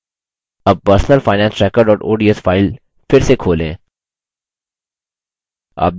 अब personal finance tracker ods file फिर से खोलें